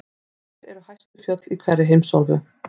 Hver eru hæstu fjöll í hverri heimsálfu?